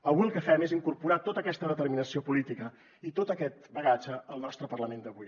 avui el que fem és incorporar tota aquesta determinació política i tot aquest bagatge al nostre parlament d’avui